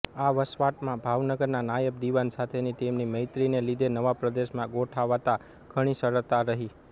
આ વસવાટમાં ભાવનગરના નાયબ દિવાન સાથેની તેમની મૈત્રિને લીધે નવા પ્રદેશમાં ગોઠાંવતાં ઘણી સરળતા રહી